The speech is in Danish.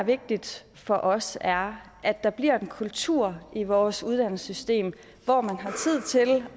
vigtigt for os er at der bliver en kultur i vores uddannelsessystem hvor man